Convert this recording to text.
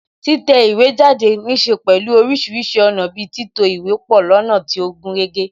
Títẹ̀ ìwé jáde níse pẹ̀lú orísìírísìí ọ̀nà bi títò ìwé pọ lọ́nà tí ó gúnrégé